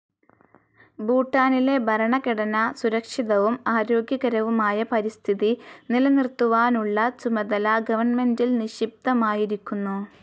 ഭൂട്ടാനിലെ ഭരണഘടന സുരക്ഷിതവും ആരോഗ്യകരവുമായ പരിസ്ഥിതി നിലനിർത്തുവാനുള്ള ചുമതല ഗവൺമെൻ്റിൽ നിക്ഷിപ്തമാക്കിയിരിക്കുന്നു.